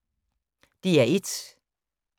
DR1